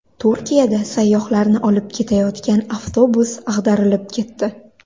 Turkiyada sayyohlarni olib ketayotgan avtobus ag‘darilib ketdi.